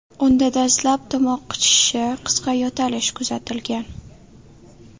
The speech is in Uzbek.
Unda dastlab tomoq qichishishi, qisqa yo‘talish kuzatilgan.